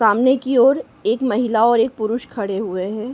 सामने की ओर एक महिला और एक पुरुष खड़े हुए हैं।